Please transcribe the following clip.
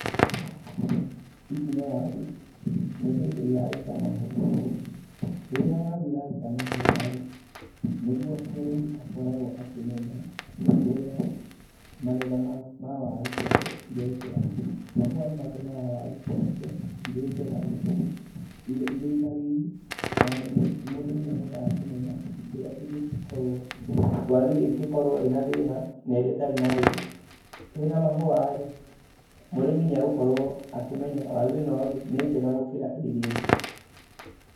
Ici nĩ waru, nĩ hĩndĩ iraruta mahũa, rĩrĩa waru iraruta mahũa rĩ, nĩguo mũrĩmi akoragwo akĩmenya, rĩrĩa magetha ma waru ciake irekĩra, mahũa nĩ matũmaga waru cioneke irĩ njega, irĩ na riri na mũrĩmi nĩahotaga kũmenya kĩrĩa kĩngĩkorwo, waru ĩrĩa ĩngĩkorwo ĩna thĩna na ĩrĩa ĩtarĩ na thĩna, cĩna mahũa rĩ mũrĩmi nĩegũkorwo akĩmenya waru ĩno rĩ nĩ njega gũkĩra ĩrĩa ĩngĩ.